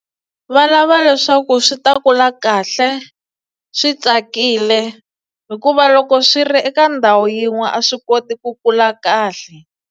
Valava leswaku swi ta kula kahle swi tsakile hikuva loko swi ri eka ndhawu yin'we a swi koti ku kula kahle.